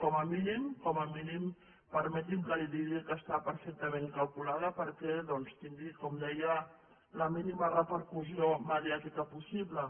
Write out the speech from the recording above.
com a mínim com a mínim permeti’m que li digui que està perfectament calculada perquè doncs tingui com deia la mínima repercussió mediàtica possible